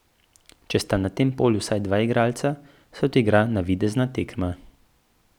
Če sta na tem polju vsaj dva igralca, se odigra navidezna tekma.